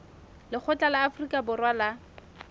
lekgotla la afrika borwa la